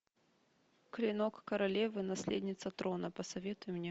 клинок королевы наследница трона посоветуй мне